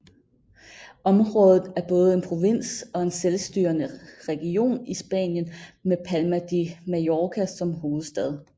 Området er både en provins og en selvstyrende region i Spanien med Palma de Mallorca som hovedstad